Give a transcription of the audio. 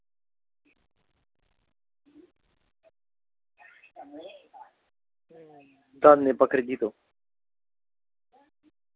данные по кредиту